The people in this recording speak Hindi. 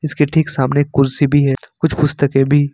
उसके ठीक सामने कुर्सी भी है कुछ पुस्तके भी --